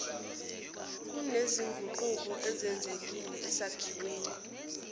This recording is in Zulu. kunezinguquko ezenzekile esakhiweni